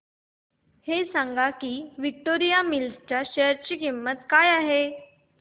हे सांगा की विक्टोरिया मिल्स च्या शेअर ची किंमत काय आहे